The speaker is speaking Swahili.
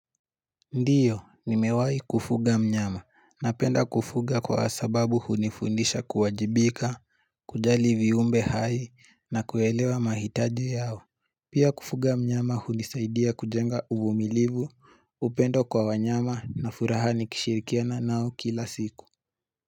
Ndiyo, nimewai kufuga mnyama, na penda kufuga kwa sababu hunifundisha kuwajibika, kuja livi umbe hai, na kuyelewa mahitaji yao. Pia kufuga mnyama hunisaidia kujenga uvumilivu, upendo kwa wanyama na furaha nikishirikiana nao kila siku.